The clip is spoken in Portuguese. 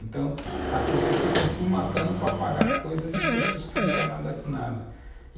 Então, as pessoas ficam se matando para pagar coisas de pessoas que não querem nada com nada.